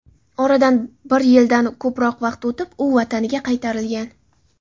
Oradan bir yildan ko‘proq vaqt o‘tib, u vataniga qaytarilgan.